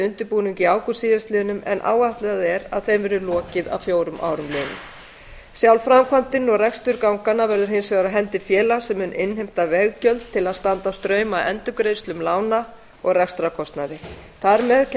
undirbúning í ágúst síðastliðnum en áætlað er þeim verði lokið að fjórum árum liðnum sjálf framkvæmdin og rekstur ganganna verður hins vegar á hendi félags sem mun innheimta veggjöld til að standa straum af endurgreiðslum lána og rekstrarkostnaði þar með kemst